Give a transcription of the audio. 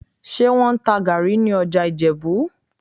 Ṣé wọ́n ń ta gàárì ní ọjà Ìjẹ̀bú?